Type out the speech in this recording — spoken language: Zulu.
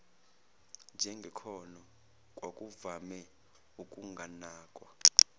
njengekhono kwakuvame ukunganakwa